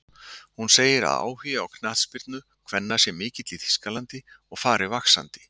Hún segir að áhugi á knattspyrnu kvenna sé mikill í Þýskalandi og fari vaxandi.